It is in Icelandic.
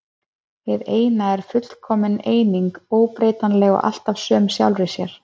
Hið eina er fullkomin eining, óbreytanleg og alltaf söm sjálfri sér.